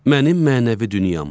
Mənim mənəvi dünyam.